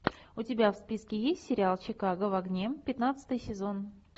у тебя в списке есть сериал чикаго в огне пятнадцатый сезон